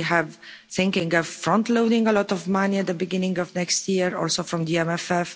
We have been thinking of front loading a lot of money at the beginning of next year or so from the MFF.